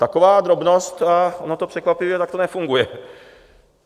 Taková drobnost, a ono to překvapivě takto nefunguje.